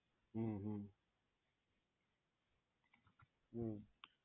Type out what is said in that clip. હમ્મ હમ્મ હમ્મ